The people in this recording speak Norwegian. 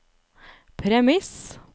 premiss